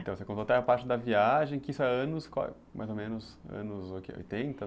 Então, você contou até a parte da viagem, que isso é anos, mais ou menos, anos o que, oitenta?